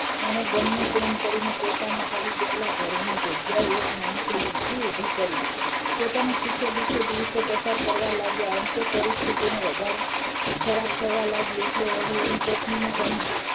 તેને ગમે તેમ કરીને પોતાના પડી ગયેલા ઘરની જગ્યા એ એક નાનકડી ઝૂંપડી ઉભી કરી પોતાના સુખે દુખે દિવસો પસાર કરવા લાગ્યા અંતે પરિસ્થિતિ વધારે ખરાબ થવા લાગી એટલે એને તેની પત્ની ને કહ્યુ